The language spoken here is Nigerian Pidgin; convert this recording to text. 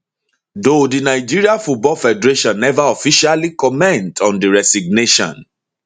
though di nigeria football federation neva officially comment on di resignation